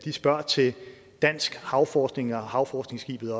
spørger til dansk havforskning og havforskningsskibet